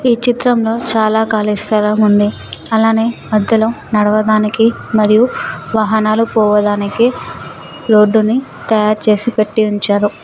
ఈ చిత్రంలో చాలా కాలి స్థలం ఉంది అలానే మధ్యలో నడవదానికి మరియు వాహనాలు పోవదానికి రోడ్డు ని తయారుచేసి పెట్టి ఉంచారు.